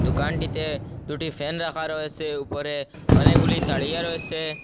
দোকানটিতে দুটি ফ্যান রাখা রয়েসে উপরে অনেকগুলি তাড়িয়া রয়েছে।